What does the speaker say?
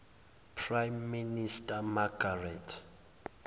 prime minister margaret